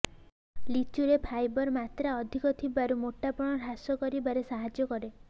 ଲିଚୁରେ fibre ମାତ୍ରା ଅଧିକ ଥିବାରୁ ମୋଟାପଣ ହ୍ରାସ କରିବାରେ ସାହାଯ୍ୟ କରେ